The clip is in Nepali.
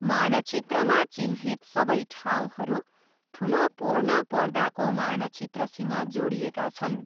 मानचित्रमा चिह्नित सबै ठाउँहरू ठुलो पूर्णपर्दाको मानचित्रसँग जोडिएका छन्।